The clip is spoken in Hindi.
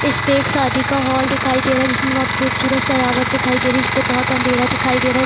इसपे एक शादी का हॉल दिखाई दे रहा है जिसमें बहुत खूबसूरत सजावट दिखाई दे रही है इसपे बहुत अँधेरा दिखाई दे रहा है।